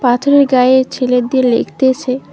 পাথরের গাঁয়ে ছেলেট দিয়ে লেখতেছে।